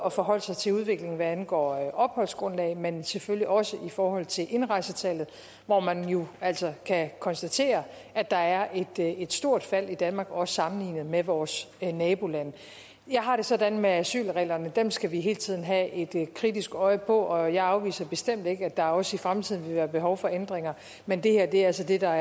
at forholde sig til udviklingen både hvad angår opholdsgrundlag men selvfølgelig også i forhold til indrejsetallet hvor man jo altså kan konstatere at der er et stort fald i danmark også sammenlignet med vores nabolande jeg har det sådan med asylreglerne at dem skal vi hele tiden have et kritisk øje på og jeg afviser bestemt ikke at der også i fremtiden vil være behov for ændringer men det her er altså det der